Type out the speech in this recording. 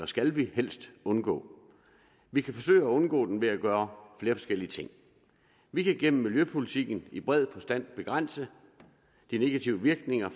skal vi helst undgå vi kan forsøge at undgå den ved at gøre flere forskellige ting vi kan gennem miljøpolitikken i bred forstand begrænse de negative virkninger